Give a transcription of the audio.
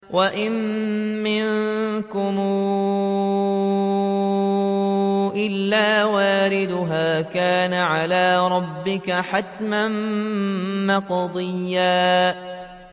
وَإِن مِّنكُمْ إِلَّا وَارِدُهَا ۚ كَانَ عَلَىٰ رَبِّكَ حَتْمًا مَّقْضِيًّا